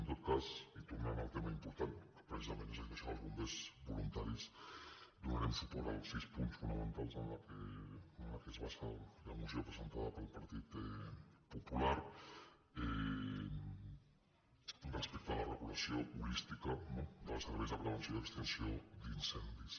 en tot cas i tornant al tema important que precisament s’ha dit això dels bombers voluntaris donarem suport als sis punts fonamentals en què es basa la moció presentada pel partit popular respecte a la regulació holística no dels serveis de prevenció i extinció d’incendis